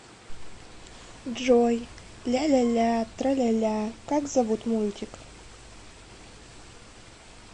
джой ляляля траляля как зовут мультик